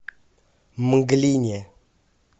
мглине